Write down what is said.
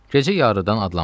Gecə yarıdan adlanmışdı.